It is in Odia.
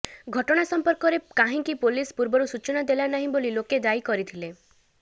ଘଟଣା ସଂପର୍କରେ କାହିଁକି ପୋଲିସ ପୂର୍ବରୁ ସୂଚନା ଦେଲାନାହିଁ ବୋଲି ଲୋକେ ଦାୟୀ କରିଥିଲେ